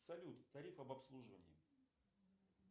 салют тариф об обслуживании